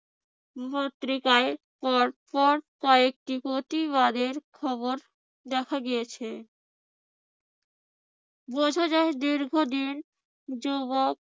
পত্রিকার পর পর কয়েকটি প্রতিবাদের খবর দেখা গিয়েছে। বোঝা যায় দীর্ঘদিন যুবক